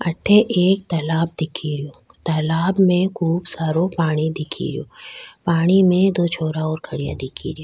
अठे एक तालाब दिखे रो तालाब में खूब सारो पानी दिखे रोस पानी में दो छोरा और खड्या दिखे रा।